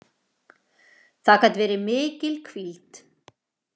Það gat verið mikil hvíld.